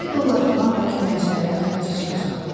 50 dollar filan da köməkçilərə xərci çıxacaqdı.